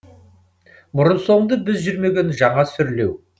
бұрын соңды біз жүрмеген жаңа сүрлеу